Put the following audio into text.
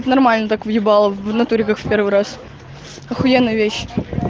нормально так въебала в натуре как в первый раз ахуенная вещь